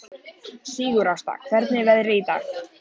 Sigurásta, hvernig er veðrið í dag?